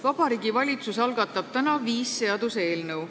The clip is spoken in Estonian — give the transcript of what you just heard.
Vabariigi Valitsus algatab täna viis seaduseelnõu.